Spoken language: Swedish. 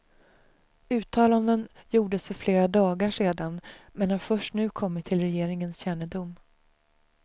Uttalanden gjordes för flera dagar sedan men har först nu kommit till regeringens kännedom.